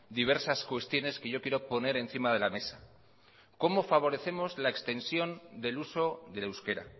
diversas cuestiones que yo quiero poner encima de la mesa cómo favorecemos la extensión del uso del euskera